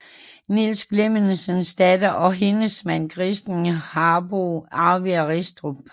Niels Clementsens datter og hendes mand Christen Harbou arvede Restrup